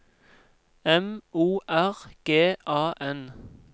M O R G A N